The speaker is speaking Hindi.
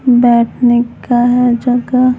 बैठने का जगह---